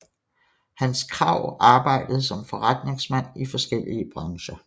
Hans Krag arbejdede som forretningsmand i forskellige brancher